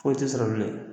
Foyi tɛ sɔrɔ bilen